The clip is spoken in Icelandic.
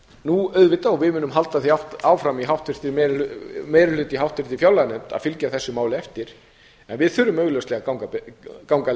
nú auðvitað og við munum halda því áfram í meiri hluta í háttvirtri fjárlaganefnd að fylgja þessu máli eftir en við þurfum augljóslega að ganga